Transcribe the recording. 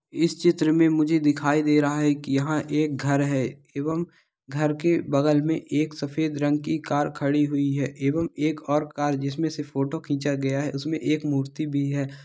इस चित्र में मुझे दिखाई दे रहा है की यहाँ एक घर है | एवँ घर के बगल में एक सफ़ेद रंग की कार खड़ी हुई है| एवं एक और कार जिसमे से फोटो खींचा गया है उसमे एक मूर्ति भी है।